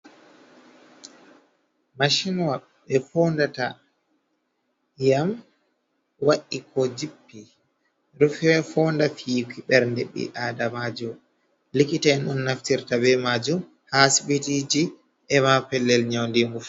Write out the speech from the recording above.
Mashinwa ɓe fondata iyam wa’i ko jippi, ɗo fonda fii ɓernde bi adamajo, likita’en on naftirta be majum ha sibitiji, ema pellel nyaundi ngu.